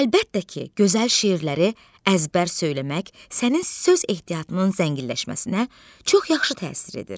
Əlbəttə ki, gözəl şeirləri əzbər söyləmək sənin söz ehtiyatının zənginləşməsinə çox yaxşı təsir edir.